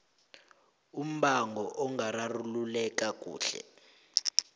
umbango ungararululeka kuhle